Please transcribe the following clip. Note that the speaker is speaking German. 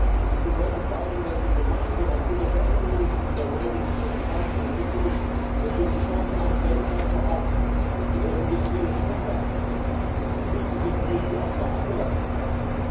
Und es bedeutet vor allen Dingen, dass wir gemeinsam aufgrund der Veränderungen in dieser Welt und der demografischen Entwicklung die Chance haben, weltweit auch industrielle Standards zu setzen und uns durchzusetzen, nicht die Opfer anderer zu sein.